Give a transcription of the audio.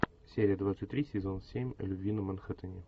серия двадцать три сезон семь любви на манхэттене